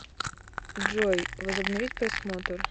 джой возобновить просмотр